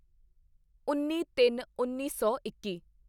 ਉੱਨੀਤਿੰਨਉੱਨੀ ਸੌ ਇੱਕੀ